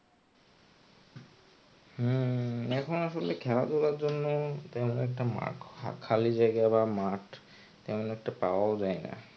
উম এখন আসলে খেলাধুলার জন্য তেমন একটা মাঠ বা খালি জায়গা বা মাঠ তেমন একটা পাওয়াও যায় না.